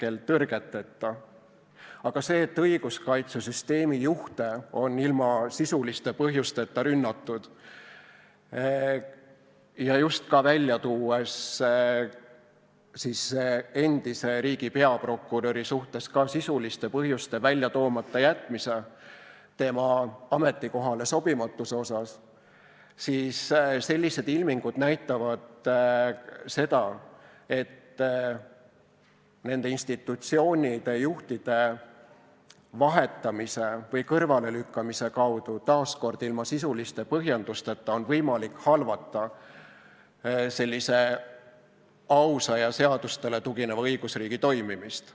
Aga sellised ilmingud, et õiguskaitsesüsteemi juhte on ilma sisuliste põhjusteta rünnatud, ja just esile tuues endise riigi peaprokuröri suhtes sisuliste põhjuste toomata jätmise tema ametikohale sobimatuse kohta, näitavad seda, et nende institutsioonide juhtide vahetamise või kõrvalelükkamise kaudu –taas ilma sisuliste põhjendusteta – on võimalik halvata ausa ja seadustele tugineva õigusriigi toimimist.